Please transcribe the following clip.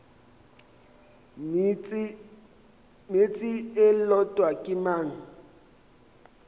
meetse e lotwa ke mong